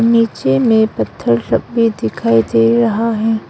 नीचे में पत्थर लगे हुए दिखाई दे रहा है।